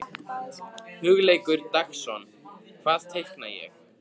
Hugleikur Dagsson: Hvað teikna ég?